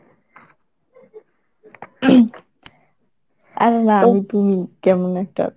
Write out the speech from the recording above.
ing আরে না, তুমি কেমন একটা